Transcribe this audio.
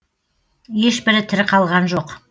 ешбірі тірі қалған жоқ